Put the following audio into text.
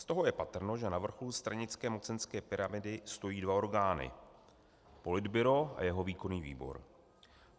Z toho je patrno, že na vrcholu stranické mocenské pyramidy stojí dva orgány - Politbyro a jeho Výkonný výbor.